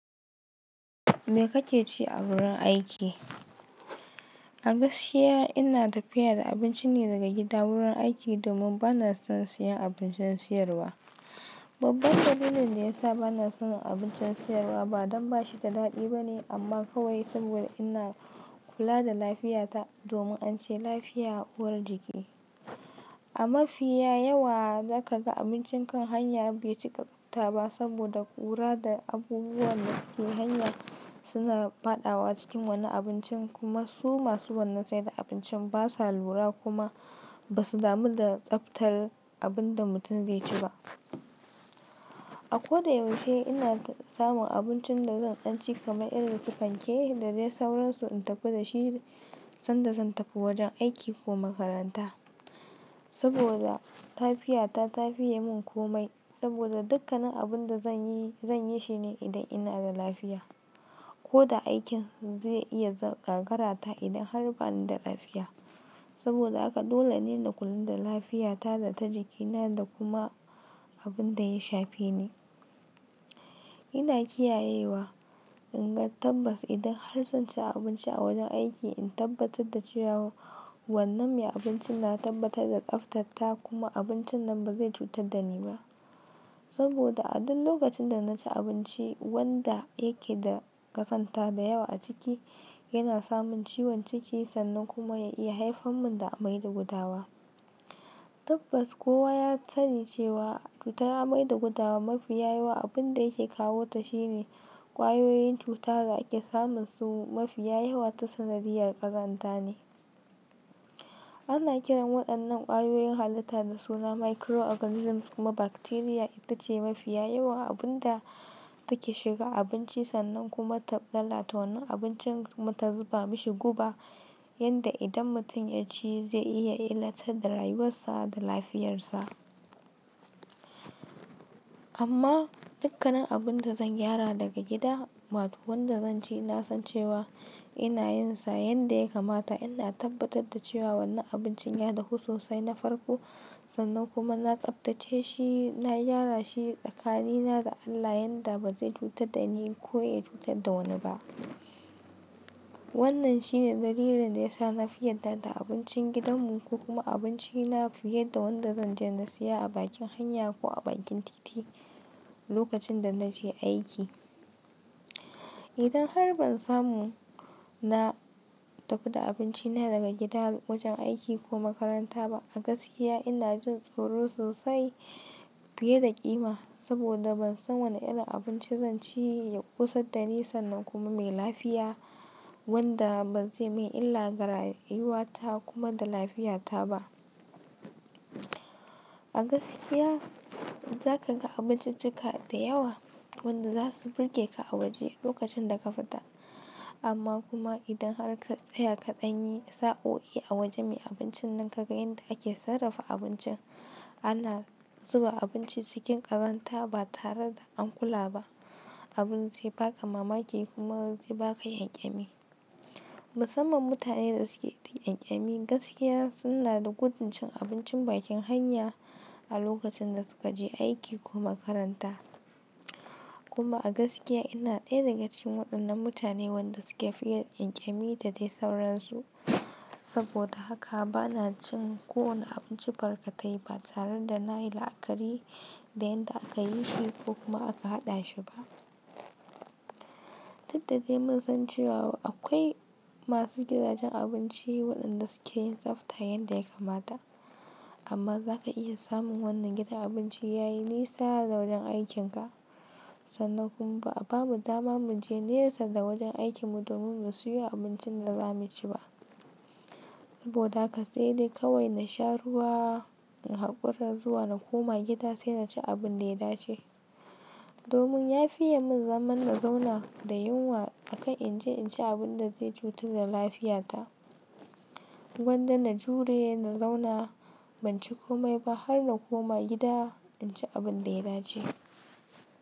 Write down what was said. Me kake ci a wurin aiki? A gaskiya ina tafiya da abinci ne daga gida wurin aiki domin bana son siyan abincin sayarwa. Babban dalilin da yasa bana son abincin sayarwa ba don ba shi da daɗi ba ne amma kawai saboda ina kula da lafiyata domin an ce lafiya uwar jiki. A mafiya yawa za ka ga abincin kan hanya bai cika tsafta ba saboda ƙura da abubuwan da suke hanya suna faɗawa cikin wannan abincin kuma su masu wannan saida abincin basa lura kuma basu damu da tsaftar abin da mutum zai ci ba. A ko da yaushe ina samun abincin da zan dan ci kaman irin su fanke da dai sauransu in tafi da shi sanda zan tafi wajen aiki ko makaranta. Saboda lafiyata ta fiye mun komai saboda dukkanin abun da zanyi zan yi shi ne idan ina da lafiya. Ko da aikin zai iya gagarata idan har bani da lafiya. Saboda haka dole ne na kula da lafiyata da ta jikina da kuma abun da ya shafe ni. Ina kiyayewa, in ga tabbas idan har zan ci abinci a wajen aiki in tabbatar da cewa wannan me abinci na tabbatar da tsaftarta kuma abincin nan ba zai cutar da ni ba. Saboda a duk lokacin da na ci abinci wanda yake da ƙazanta da yawa a ciki, yana samun ciwon ciki sannan kuma ya iya haifar mun da amai da gudawa. Tabbas kowa ya sani cewa cutar amai da gudawa mafiya yawa abun da yake kawota shine ƙwayoyin cuta da ake samun su mafiya yawa ta sanadiyar ƙazanta ne. Ana kiran waɗannan ƙwayoyin halitta da suna microorganisms kuma bacteria ita ce mafiya yawan abunda take shiga abinci sannan kuma ta lalata wannan abincin kuma ta zuba mishi guba yanda idan mutum ya ci zai iya illata da rayuwarsa da lafiyarsa. Amma dukkanin abun da zan gyara daga gida, wato wanda zan ci na san cewa ina yin sa yanda ya kamata ina tabbatar da cewa wannan abincin ya dahu sosai na farko sannan kuma na tsaftace shi na gyara shi tskanina da Allah yanda ba zai cutar da ni ko ya cutar da wani ba. Wannan shine dalilin da ya sa na fi yadda da abincin gidanmu ko kuma abinci na fiye da wanda zan je na siya a bakin hanya ko a bakin titi lokacin da na je aiki. Idan har ban samu na tafi da abinci na daga gida wajen aiki ko makaranta ba a gaskiya ina jin tsoro sosai fiye da ƙima saboda ban san wane irin abinci zan ci ya ƙosar da ni sannan kuma mai lafiya wanda bazai mun illa ga rayuwata kuma da lafiyata ba. A gaskiya za ka ga abinciccika da yawa wanda za su burge ka a waje lokacin da ka fita. Amma kuma idan har ka tsaya kaɗan yi sa'o'i a wajen me abincin nan ka ga yanda ake sarrafa abincin. Ana zuba abinci cikin ƙazanta ba tare da an kula ba. Abun zai baka mamaki kuma zai baka ƙyanƙyami. Musamman mutane da suke da ƙyanƙyami gaskiya suna da gudun cin abincin bakin hanya a lokacin da suka je aiki ko makaranta. Kuma a gaskiya ina ɗaya daga cikin waɗannan mutane wanda suke fiye ƙyanƙyami da dai sauransu. Saboda haka bana cin kowane abinci barkatai ba tare da na yi la'akari da yanda aka yi shi ko kuma aka haɗa shi ba. Daukda dai mun san cewa akwai masu gidajen abinci waɗanda suke yin tsafta yanda ya kamata. Amma zaka iya samun wannan gidan abinci yayi nisa da wajen aikin ka sannan kuma bamu dama mu je nesa da wajen aikin mu domin mu siyo abincin da za mu ci ba. Saboda haka sai dai kawai na sha ruwa in hakura zuwa na koma gida sai na ci abun da ya dace. Domin ya fiye mun zaman na zauna da yunwa akan in je in ci abun da zai cutar da lafiyata. Gwanda na jure na zauna ban ci komai ba har na koma gida in ci abun da ya dace.